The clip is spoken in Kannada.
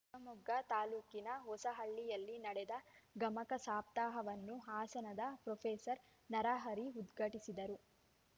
ಶಿವಮೊಗ್ಗ ತಾಲೂಕಿನ ಹೊಸಹಳ್ಳಿಯಲ್ಲಿ ನಡೆದ ಗಮಕ ಸಪ್ತಾಹವನ್ನು ಹಾಸನದ ಪ್ರೊಫೆಸರ್ ನರಹರಿ ಉದ್ಘಾಟಿಸಿದರು